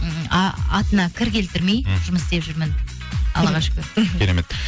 м атына кір келтірмей жұмыс істеп жүрмін аллаға шүкір мхм керемет